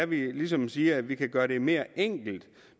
vi ligesom siger at vi kan gøre det mere enkelt